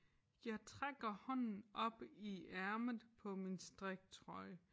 Jeg trækker hånden op i ærmet på min striktrøje